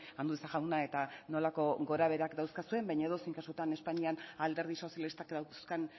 andueza jauna eta nolako gorabeherak dauzkazuen baina edozein kasutan espainian alderdi sozialistak dauzkan